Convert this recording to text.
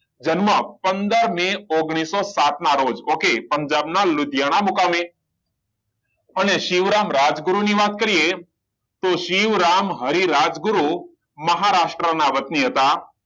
જન્મ પંદર મેં ઓગણીસો સાત ના રોજ okay પંજાબ ના લુડિયાના મુકામે અને શિવરામ રાજગુરુ ની વાત કરીએ શ્રી રામ હરિ રાજ ગુરુ મહારાષ્ટ્ર ના વતની હતા